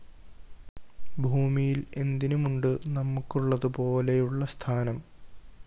ഭൂമിയില്‍ എന്തിനുമുണ്ട് നമുക്കുള്ളതുപോലെയുള്ള സ്ഥാനം